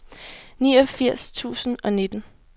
niogfirs tusind og nitten